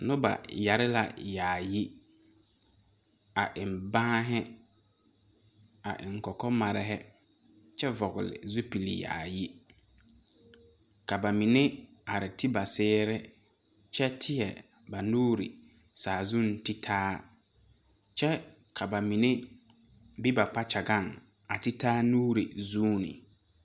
Nobɔ yɛre la yaayi a wo baanhi a eŋ kɔkɔ marehi kyɛ vɔgle zupile yaayi ka ba mine are ri ba sɛɛre kyɛ tēɛ ba nuure saazuŋ ti taa kyɛ ka ba mine be ba kpakyagaŋ a ti taa nuure zuune.